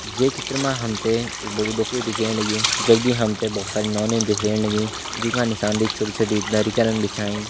ये चित्र मा हमते एक बडू डोकरू दिख्येण लग्यूं जगदी हमते बहुत सारी नौनिनं दिख्येण लगीं जोका निसान देख छोटी-छोटी दरी करण बिछाईं।